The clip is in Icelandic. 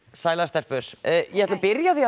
sælar stelpur ég ætla að byrja á því að